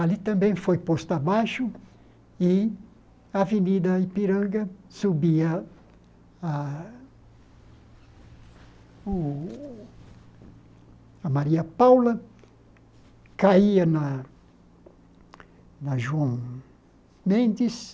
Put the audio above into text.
Ali também foi posto abaixo e a Avenida Ipiranga subia a o a Maria Paula, caía na na João Mendes.